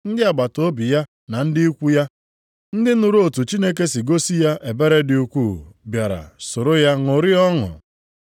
Ndị agbataobi ya na ndị ikwu ya, ndị nụrụ otu Chineke si gosi ya ebere dị ukwuu, bịara soro ya ṅụrịa ọṅụ.